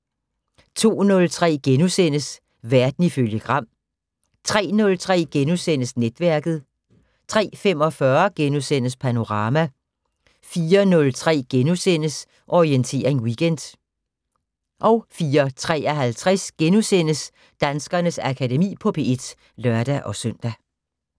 02:03: Verden ifølge Gram * 03:03: Netværket * 03:45: Panorama * 04:03: Orientering Weekend * 04:53: Danskernes Akademi på P1 *(lør-søn)